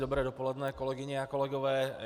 Dobré dopoledne, kolegyně a kolegové.